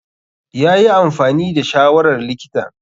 Yayi amfani da shawarar likitan.